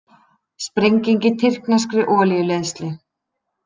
Sprenging í tyrkneskri olíuleiðslu